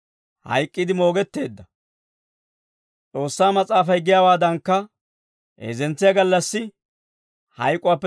hayk'k'iide moogetteedda. S'oossaa Mas'aafay giyaawaadankka, heezzentsiyaa gallassi hayk'uwaappe